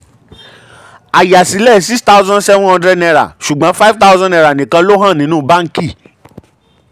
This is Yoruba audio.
ayásílẹ̀ six thousand seven hundred ṣùgbọ́n five thousand nikan ló hàn nínú bánkì.